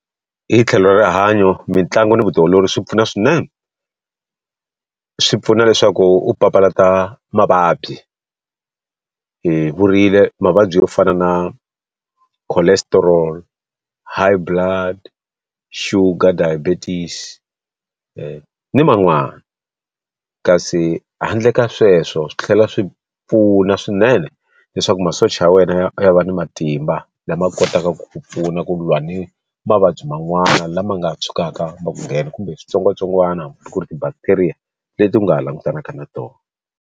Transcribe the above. Hi tlhelo ra rihanyo mitlangu ni vutiolori swi pfuna swinene. Swi pfuna leswaku u papalata mavabyi. Hi vurile mavabyi yo fana na cholesterol, high blood, sugar diabetes, ni man'wani. Kasi handle ka sweswo swi tlhela swi pfuna swinene leswaku masocha ya wena ya ya va ni matimba lama kotaka ku pfuna kulwa ni mavabyi man'wana lama nga tshukaka ma ku nghena, kumbe switsongwatsongwana hambi ku ri ti-bacteria leti u nga ha langutanaka na tona.